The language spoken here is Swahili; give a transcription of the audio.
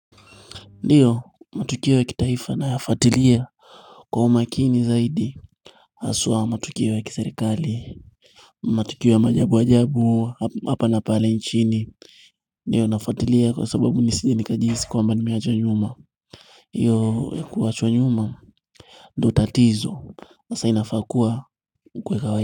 Ndiyo matukio ya kitaifa nayafuatilia kwa umakini zaidi aswa matukio ya kiserikali matukio ya maajabu ajabu hapa na pale nchini ndiyo nafuatilia kwa sababu nisije ni kajihisi kwamba nimeachwa nyuma hiyo kuachwa nyuma ndio tatizo masa inafakua kwa kwa kwa.